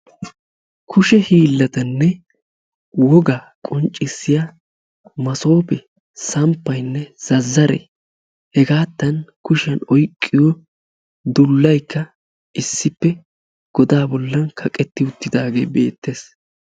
Kushe hiillatanne wogaa qonccissiya masoofee, samppaynne zazzaree hegaattan kushiyan oyqqiyo dullaykka issippe godaa bollan kaqetti uttidaagee beettees.